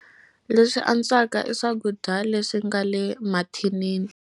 Leswi antswaka i swakudya leswi nga le mathinini.